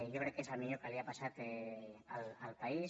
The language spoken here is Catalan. jo crec que és el millor que li ha passat al país